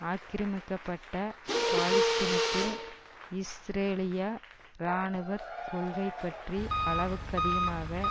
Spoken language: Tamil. ஆக்கிரமிக்கப்பட்ட பாலஸ்தீனத்தில் இஸ்ரேலிய இராணுவ கொள்கை பற்றி அளவுக்கதிகமாக